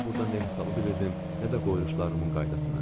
Daha burda nə hesabı bilirdim, nə də qoyuluşlarımın qaydasını.